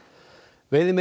veiðimenn